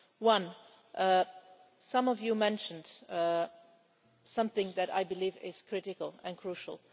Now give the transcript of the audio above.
One some of you mentioned something that I believe is critical and crucial.